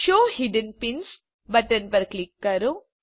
show hidden pins button પર click કરો